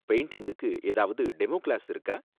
பெயிண்டிங்க்கு ஏதாவது demo class இருக்கா